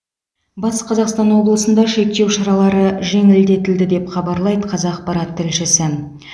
батыс қазақстан облысында шектеу шаралары жеңілдетілді деп хабарлайды қазақпарат тілшісі